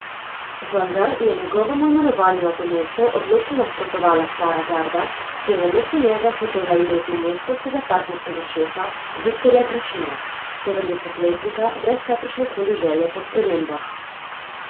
Vendar je njegovemu imenovanju na to mesto odločno nasprotovala stara garda, ki je namesto njega hotela imeti moskovskega partijskega šefa Viktorja Grišina, sedemdesetletnika brez kakršnekoli želje po spremembah.